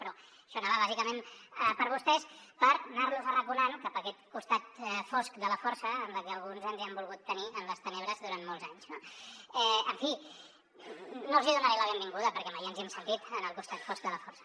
però això anava bàsicament per vostès per anar los arraconant cap a aquest costat fosc de la força en el que alguns ens han volgut tenir en les tenebres durant molts anys no en fi no els hi donaré la benvinguda perquè mai ens hi hem sentit en el costat fosc de la força